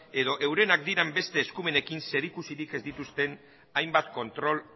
edo eurenak diren beste eskumenekin zerikusirik ez dituzten hainbat kontrol